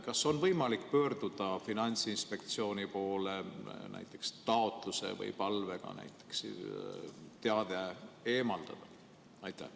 Kas on võimalik pöörduda Finantsinspektsiooni poole näiteks taotluse või palvega teade eemaldada?